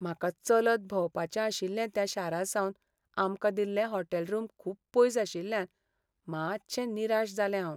म्हाका चलत भोंवपाचें आशिल्लें त्या शारासावन आमकां दिल्ले हॉटेल रूम खूब पयस आशिल्ल्यान मातशें निराश जालें हांव.